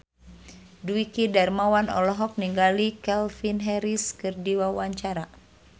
Dwiki Darmawan olohok ningali Calvin Harris keur diwawancara